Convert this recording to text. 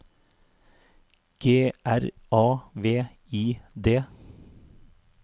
G R A V I D